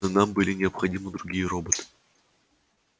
но нам были необходимы другие роботы